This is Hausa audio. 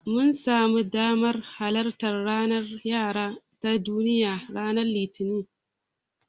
Mun samu damar halartar ranar yara ta Duniya ranar Litinin.